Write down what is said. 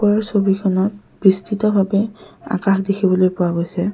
এই ছবিখনত বৃস্তিতভাবে আকাশ দেখিবলৈ পোৱা গৈছে।